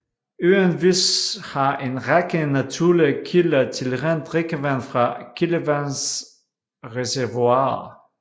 Øen Vis har en række naturlige kilder til rent drikkevand fra kildevandsreservoirer